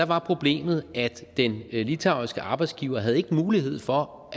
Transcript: var problemet at den litauiske arbejdsgiver ikke havde mulighed for